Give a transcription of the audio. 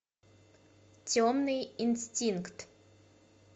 темный инстинкт